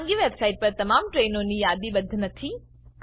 ખાનગી વેબસાઈટ પર તમામ ટ્રેઇનો યાદીબદ્ધ નથી